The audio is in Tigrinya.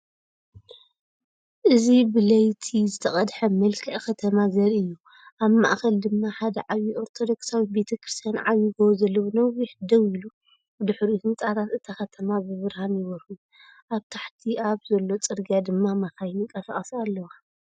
እዚብለይቲ ዝተቐድሐ መልክዕ ከተማ ዘርኢ እዩ። ኣብ ማእኸል ድማ ሓደ ዓብዪ ኦርቶዶክሳዊት ቤተ ክርስቲያን ዓብዪ ጎቦ ዘለዎ ነዊሕ ደው ኢሉ፤ ብድሕሪኡ ህንጻታት እታ ከተማ ብብርሃን ይበርሁ። ኣብ ታሕቲ ኣብ ዘሎ ጽርግያ ድማ መካይን ይንቀሳቐሳ ኣለዋ።